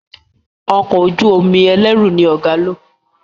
Ọkọ̀ ojú-omi ẹlẹru ní ọgá ló.